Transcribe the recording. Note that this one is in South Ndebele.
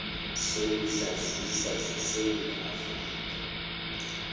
zokuzazisa zesewula afrika